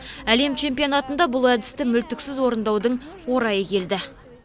әлем чемпионатында бұл әдісті мүлтіксіз орындаудың орайы келді